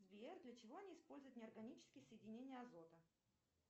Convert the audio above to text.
сбер для чего они используют неорганические соединения азота